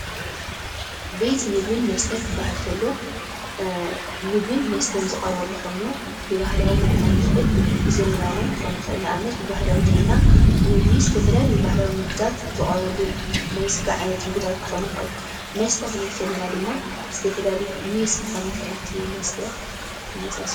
ቤት ምግብን መስተን ክበሃል እንተሎ ምግብን መስተን ዝቀርበሉ ኾይኑ ብባህላዊ እውን ክኾን ይኸእል ብዘመናዊ እውን ክኾን ይክእል ። ንኣብነት ብባህላዊ እንተለና ምግቢ ብዝተፈላዩ ምግብታት ባህላዊ ምግብታት ዝቀርበሉ ናይ ስጋ ዓይነታት መስተ ክንብል እንተለና ድማ ዝተፈላዩ ሜስ ክኾን ይኽእል እቲ መስተ እቲ ዝመሳሰ